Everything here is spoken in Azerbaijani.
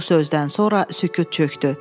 Bu sözdən sonra sükut çökdü.